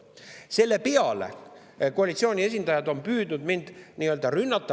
Selle peale on koalitsiooni esindajad püüdnud mind nii-öelda rünnata.